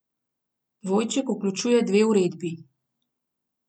Dvojček vključuje dve uredbi.